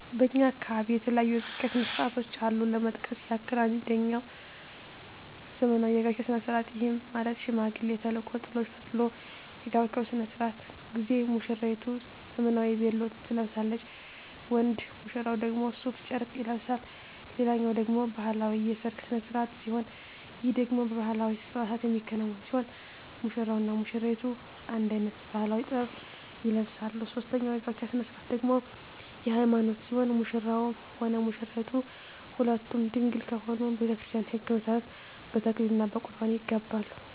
በእኛ አካባቢ የተለያዩ የጋብቻ ስነ ስርዓቶች አሉ ለመጥቀስ ያክል አንጀኛው ዘመናዊ የጋብቻ ስነ ስርዓት ይህም ማለት ሽማግሌ ተልኮ ጥሎሽ ተጥሎ የጋብቻው ስነ ስርዓት ጊዜ ሙስራይቱ ዘመናዊ ቬሎ ትለብሳለች ወንድ ሙሽራው ደግሞ ሡፍ ጨርቅ ይለብሳል ሌላኛው ደግሞ ባህላዊ የሰርግ ስነ ስርዓት ሲሆን ይህ ደግሞ በባህላዊ አልባሳት የሚከናወን ሲሆን ሙሽራው እና ሙሽሪቷ አንድ አይነት ባህላዊ(ጥበብ) ይለብሳሉ ሶስተኛው የጋብቻ ስነ ስርዓት ደግሞ የሀይማኖት ሲሆን ሙሽራውም ሆነ ሙሽራይቷ ሁለቱም ድንግል ከሆኑ በቤተክርስቲያን ህግ መሠረት በተክሊል እና በቁርባን ይጋባሉ።